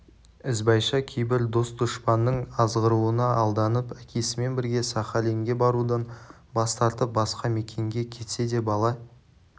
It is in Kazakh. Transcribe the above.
ізбайша кейбір дос-дұшпанның азғыруына алданып әкесімен бірге сахалинге барудан бас тартып басқа мекенге кетсе де бала